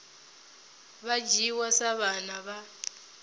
vha dzhiwa sa vhana vha